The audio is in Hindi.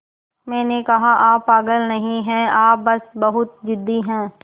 मैंने कहा आप पागल नहीं हैं आप बस बहुत ज़िद्दी हैं